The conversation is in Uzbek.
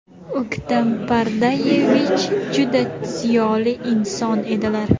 O‘ktam Pardayevich juda ziyoli inson edilar.